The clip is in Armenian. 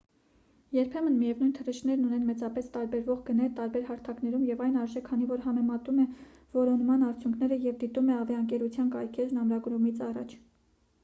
երբեմն միևնույն թռիչքներն ունեն մեծապես տարբերվող գներ տարբեր հարթակներում և այն արժե քանի որ համեմատում է որոնման արդյունքները և դիտում է ավիաընկերության կայքէջն ամրագրումից առաջ